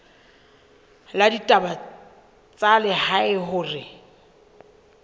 la ditaba tsa lehae hore